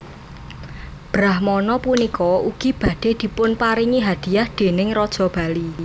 Brahmana punika ugi badhe dipunparingi hadiah déning Raja Bali